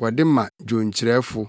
Wɔde ma dwonkyerɛfo.